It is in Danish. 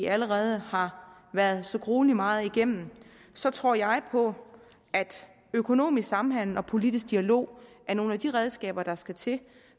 allerede har været så gruelig meget igennem så tror jeg på at økonomisk samhandel og politisk dialog er nogle af de redskaber der skal til